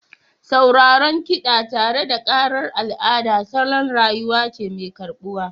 Sauraron kiɗa tare da ƙarar al'ada salon rayuwa ce mai karɓuwa